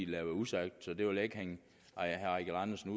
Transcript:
være usagt så det vil jeg ikke hænge herre eigil andersen